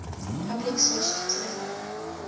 public switched telephone